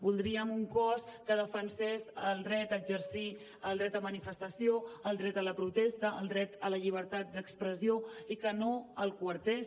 voldríem un cos que defensés el dret a exercir el dret a manifestació el dret a la protesta el dret a la llibertat d’expressió i que no el coartés